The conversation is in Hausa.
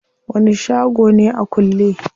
Wani shago ne a kulle?